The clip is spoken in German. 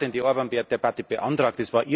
Ja wer hat denn die Debatte beantragt?